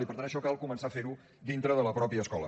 i per tant això cal començar a fer ho dintre de la mateixa escola